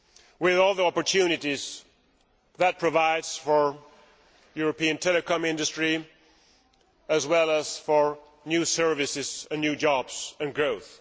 with all the opportunities that provides for the European telecoms industry as well as for new services and new jobs and growth.